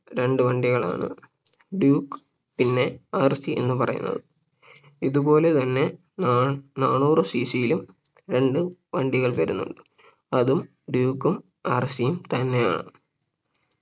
രണ്ടു വണ്ടികളാണ് Duke പിന്നെ RC എന്നും പറയുന്നത് ഇതുപോലെ തന്നെ നാ നാനൂറ് CC യിലും രണ്ട് വണ്ടികൾ വരുന്നുണ്ട് അതും Duke ഉം RC യും തന്നെയാണ്